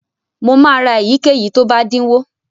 Mo máa ra èyíkéyìí tó bá dínwó.